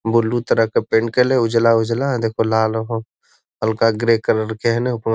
Blue तरह के paint कइले है उजला उजला देख लाल हहो हल्का ग्रे कलर के ह न।